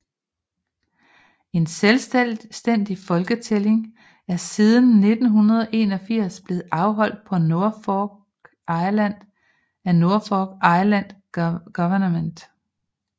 En selvstændig folketælling er siden 1981 blevet afholdt på Norfolk Island af Norfolk Island Government